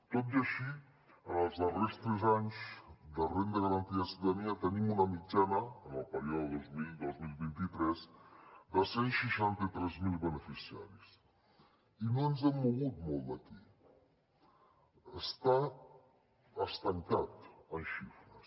tot i així en els darrers tres anys de renda garantida de ciutadania tenim una mitjana en el període dos mil dos mil vint tres de cent i seixanta tres mil beneficiaris i no ens hem mogut molt d’aquí està estancat en xifres